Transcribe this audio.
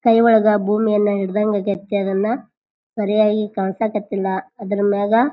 ಕೈ ಒಳಗ ಬೂಮಿಯನ್ನ ಹಿಡ್ದಂಗದೈತೆ ಅದನ್ನ ಸರಿಯಾಗಿ ಕನ್ಸಾಕತ್ತಿಲ್ಲ ಅದ್ರ ಮ್ಯಾಗ --